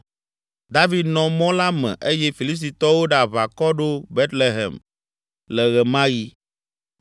David nɔ mɔ la me eye Filistitɔwo ɖe aʋakɔ ɖo Betlehem le ɣe ma ɣi.